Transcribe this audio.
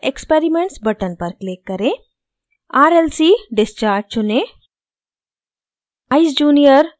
plot window पर experiments button पर click करें rlc discharge चुनें